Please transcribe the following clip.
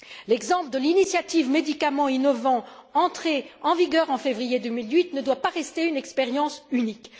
L'exemple de l'initiative Médicaments innovants, entrée en vigueur en février 2008, ne doit pas rester une expérience unique.